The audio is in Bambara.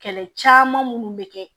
Kɛlɛ caman minnu bɛ kɛ